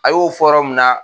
A y'o fɔ rɔ mun na